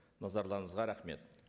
назарларыңызға рахмет